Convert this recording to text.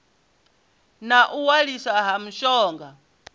na u waliswa ha mishonga